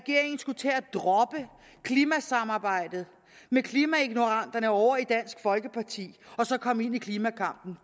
droppe klimasamarbejdet med klimaignoranterne ovre i dansk folkeparti og så komme ind i klimakampen